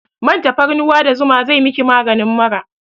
Man tafarnuwa da zuma zai miki maganin mura